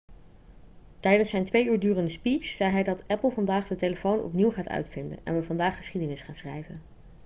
tijdens zijn twee uur durende speech zei hij dat apple vandaag de telefoon opnieuw gaat uitvinden en we vandaag geschiedenis gaan schrijven'